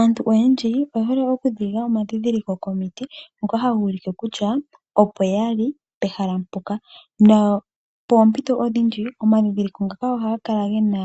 Aantu oyendji oye hole okuninga omandhindhiliko komiti ngoka haga ulike kutya opo yali pehala mpoka, nopoompito odhindji omandhindhiliko ngaka ohaga kala ge na